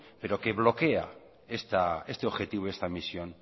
pero que bloquea este objetivo y esta misión